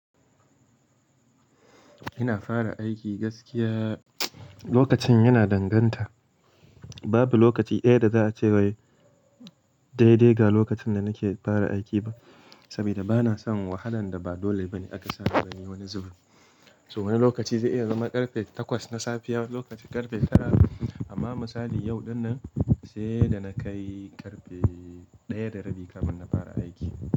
Ina fara aiki gaskiya lokacin yana danganta. Babu lokaci ɗaya da za a ce wai daidai ga lokacin da nake fara aiki ba, saboda bana son wahalan da ba dole ba ne aka sa na yi wani zubin. So wani lokaci zai iya zama karfe takwas na safiya wani lokaci karfe tara. Amma misali yau ɗinnan sai da na kai karfe ɗaya da rabi kafin na fara aiki.